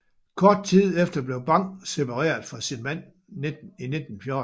Kort tid efter blev Bang separeret fra sin mand i 1914